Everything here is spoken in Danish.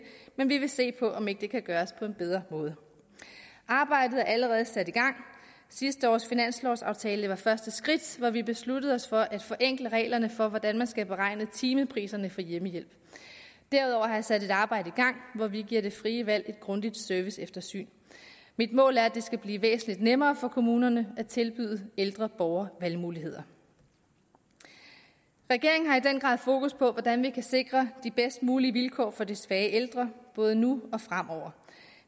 men vi vil se på om ikke det kan gøres på en bedre måde arbejdet er allerede sat i gang sidste års finanslovaftale var første skridt hvor vi besluttede os for at forenkle reglerne for hvordan man skal beregne timepriserne for hjemmehjælp derudover har jeg sat et arbejde i gang hvor vi giver det frie valg et grundigt serviceeftersyn mit mål er at det skal blive væsentligt nemmere for kommunerne at tilbyde ældre borgere valgmuligheder regeringen har i den grad fokus på hvordan vi kan sikre de bedst mulige vilkår for de svage ældre både nu og fremover